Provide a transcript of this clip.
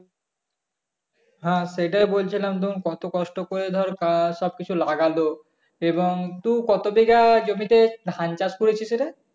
হ্যাঁ সেটাই বলছিলাম তখন কত কষ্ট করে ধর সবকিছু লাগলো এবং তুই কত বিঘা জমিতে ধান চাষ করেছিলি রে